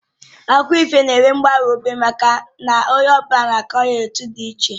Akụkọ ifo na-enwe mgbanwe obere maka na onye ọ bụla na-akọ ya etu dị iche